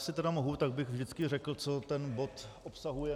Jestli tedy mohu, tak bych vždycky řekl, co ten bod obsahuje.